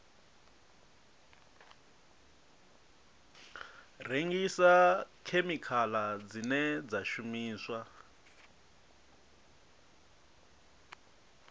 rengisa khemikhala dzine dza shumiswa